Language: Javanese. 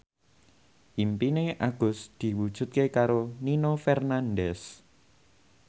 impine Agus diwujudke karo Nino Fernandez